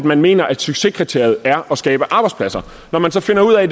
man mener at succeskriteriet er at skabe arbejdspladser når man så finder ud af at